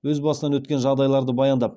өз басынан өткен жағдайларды баяндап